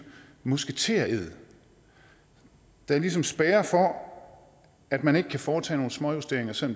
musketered der ligesom spærrer for at man kan foretage nogle småjusteringer selv